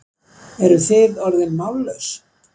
Eruð þið orðin mállaus?